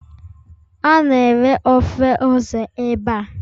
A na-ere ofe ose ebe a.